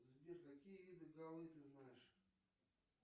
сбер какие виды голы ты знаешь